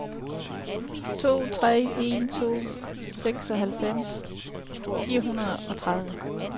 to tre en to seksoghalvfems fire hundrede og tredive